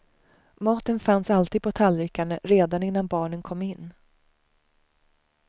Maten fanns alltid på tallrikarna redan innan barnen kom in.